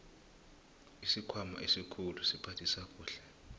isikhwama esikhulu siphathisa kuhle